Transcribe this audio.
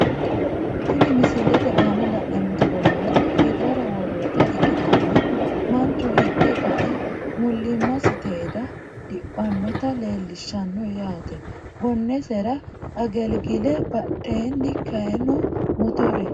Tini misilete aana la`eemoti bolaala hirara woroyita ikitana manchu hidhe kae mulimasi teeda diphanota leelishano yaate gonesera agelgile badheeni kayino motore.